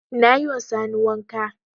Na yi ma Sani wanka.